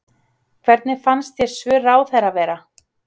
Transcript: Hvernig fannst þér svör ráðherra vera?